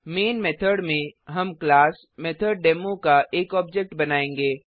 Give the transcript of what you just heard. man method में हम class MethodDemo का एक ऑब्जेक्ट बनायेंगे